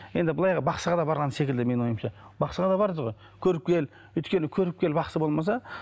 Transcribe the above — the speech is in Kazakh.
енді былай бақсыға да барған секілді менің ойымша бақсыға да бардыңыз ғой көріпкел өйткені көріпкел бақсы болмаса